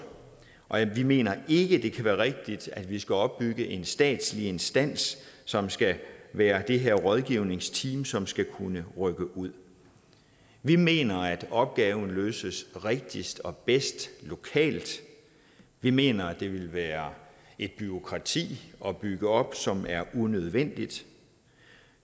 og vi mener ikke det kan være rigtigt at vi skal opbygge en statslig instans som skal være det her rådgivningsteam som skal kunne rykke ud vi mener at opgaven løses rigtigst og bedst lokalt vi mener at det ville være et bureaukrati at bygge op som er unødvendigt